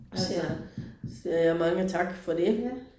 Soger jeg siger jeg mange tak for det